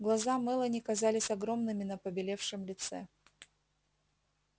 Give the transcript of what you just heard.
глаза мелани казались огромными на побелевшем лице